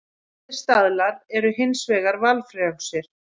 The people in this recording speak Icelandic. Allir staðlar eru hins vegar valfrjálsir.